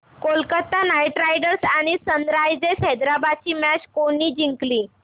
Kolkata knight riders आणि sunrisers Hyderabad ही match कोणी जिंकली